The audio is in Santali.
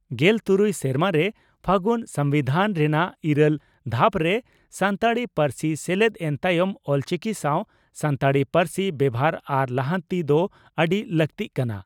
ᱜᱮᱞᱛᱩᱨᱩᱭ ᱥᱮᱨᱢᱟᱨᱮ ᱯᱷᱟᱹᱜᱩᱱ ᱥᱚᱢᱵᱤᱫᱷᱟᱱ ᱨᱮᱱᱟᱜ ᱤᱨᱟᱹᱞ ᱫᱷᱟᱯᱨᱮ ᱥᱟᱱᱛᱟᱲᱤ ᱯᱟᱹᱨᱥᱤ ᱥᱮᱞᱮᱫ ᱮᱱ ᱛᱟᱭᱚᱢ ᱚᱞᱪᱤᱠᱤ ᱥᱟᱶ ᱥᱟᱱᱛᱟᱲᱤ ᱯᱟᱹᱨᱥᱤ ᱵᱮᱵᱷᱟᱨ ᱟᱨ ᱞᱟᱦᱟᱱᱛᱤ ᱫᱚ ᱟᱹᱰᱤ ᱞᱟᱜᱛᱤᱜ ᱠᱟᱱᱟ ᱾